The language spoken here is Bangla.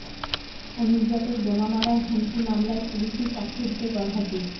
অনুব্রতর বোমা মারার হুমকি মামলায় পুলিসই সাক্ষ্য দিতে গরহাজির